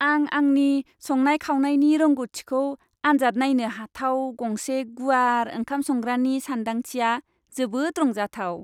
आं आंनि संनाय खावनायनि रोंग'थिखौ आन्जाद नायनो हाथाव गंसे गुवार ओंखाम संग्रानि सानदांथिया जोबोद रंजाथाव।